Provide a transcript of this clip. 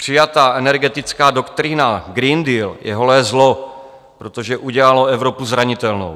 Přijatá energetická doktrína Green Deal je holé zlo, protože udělalo Evropu zranitelnou.